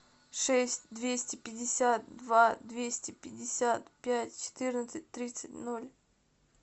шесть двести пятьдесят два двести пятьдесят пять четырнадцать тридцать ноль